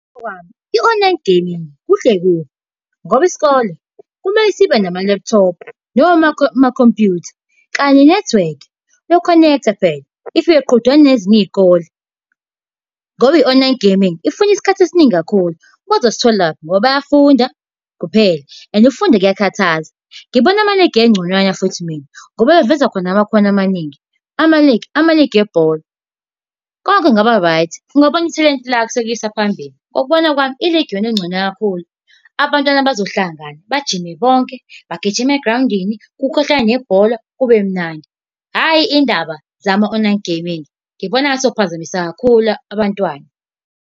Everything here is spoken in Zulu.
Ngokwami, i-online gaming kuhle kubi ngoba isikole kumele sibe nama-laptop noma amakhompyutha, kanye nenethiwekhi yoku-connect-a phela if iyoqhudelana nezinye iy'kole ngoba i-online gaming ifuna isikhathi esiningi kakhulu. Bazositholaphi? Ngoba bayafunda kuphela and ukufunda kuyakhathaza. Ngibona amaligi egconywana futhi mina, ngoba baveza khona namakhono amaningi. Amaligi amaligi ebhola. Konke kungaba-right, ungabona ithalente lakho selikuyisa phambili. Ngokubona kwami iligi iyona engcono kakhulu. Abantwana bazohlangana, bajime bonke, bagijima egrawundini kukhahlelwe nebhola kube mnandi. Hhayi indaba zama-online gaming, ngibona ngathi zizokuphazamisa kakhulu abantwana.